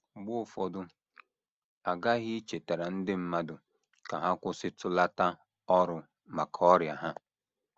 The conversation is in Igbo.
Mgbe ụfọdụ a ghaghị ichetara ndị mmadụ ka ha kwụsịtụlata ọrụ maka ọrịa ha. ”